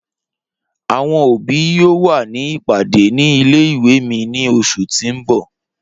Awọn obi yoo wa ni ipade ni ìle-ìwe mi ni oṣu ti n bọ.